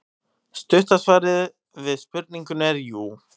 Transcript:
Stutta svarið við spurningunni er jú.